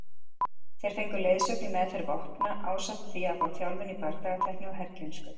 Þeir fengu leiðsögn í meðferð vopna ásamt því að fá þjálfun í bardagatækni og herkænsku.